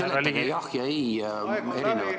Kas te seletaksite jah ja ei erinevat mõju, palun?